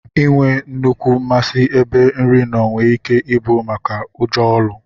Inwee nnukwu masi ebe nri noo nwere ike ibu maka ụjọ ọlụ.